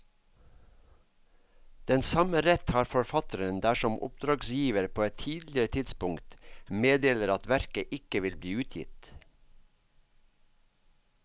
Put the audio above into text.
Den samme rett har forfatteren dersom oppdragsgiver på et tidligere tidspunkt meddeler at verket ikke vil bli utgitt.